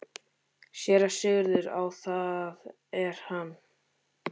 SÉRA SIGURÐUR: Æ, það er hann!